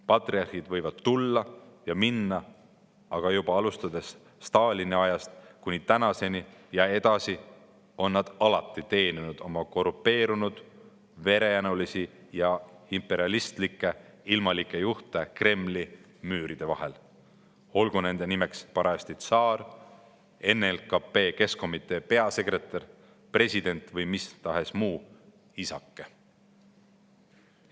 Patriarhid võivad tulla ja minna, aga juba alustades Stalini ajast kuni praeguseni on nad alati teeninud – ja ka edaspidi – oma korrumpeerunud, verejanulisi ja imperialistlikke ilmalikke juhte Kremli müüride vahel, olgu see parajasti tsaar, NLKP Keskkomitee peasekretär, president või mistahes muu "isake".